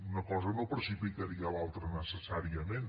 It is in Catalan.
una cosa no precipitaria l’altra necessàriament